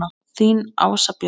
Þín Ása Björg.